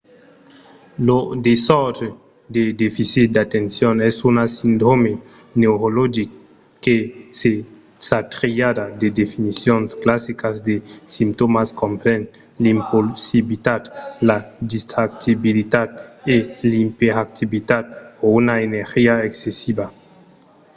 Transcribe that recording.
lo desòrdre de deficit d'atencion es un sindròme neurologic que sa triada de definicions classicas de simptòmas compren l'impulsivitat la distractibilitat e l’iperactivitat o una energia excessiva